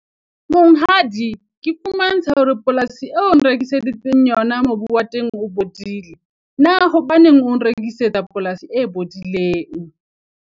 Monghadi, ke fumantsha hore polasi e onrekisetsang yona, mobu wa teng o bodile. Na hobaneng o nrekisetsa polasi e bodileng?